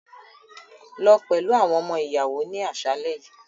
Lọ pẹlu awọn ọmọ-iyawo ni aṣalẹ yii!